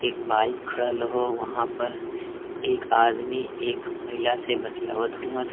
एक बाइक खड़ल रहो वहाँ पर एक आदमी एक महिला से बतीयत हुवन।